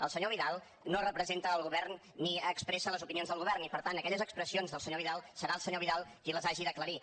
el senyor vidal no representa el govern ni expressa les opinions del govern i per tant aquelles expressions del senyor vidal serà el senyor vidal qui les hagi d’aclarir